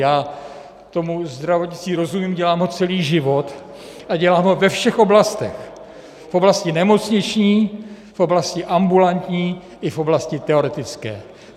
Já tomu zdravotnictví rozumím, dělám ho celý život a dělám ho ve všech oblastech, v oblasti nemocniční, v oblasti ambulantní i v oblasti teoretické.